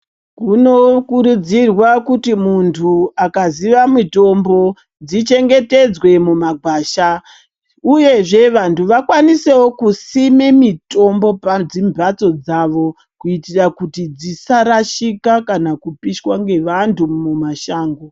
Kunokurudzirwa kuti muntu akaziva mitombo dzichengetedzwe mumagwasha. Uyezve vantu vakwanisewo kusime mitombo padzimhatso dzavo kuitira kuti dzisarashika kana kupishwa nevantu mumashango.